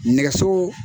Nɛgɛso